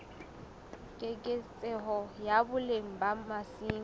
keketseho ya boleng ba masimo